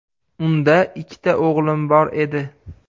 Unda ikkita o‘g‘lim bor edi.